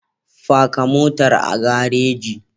Faka motar a gareji.